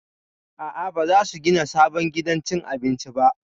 A'a, ba za su gina sabon gidan cin abinci ba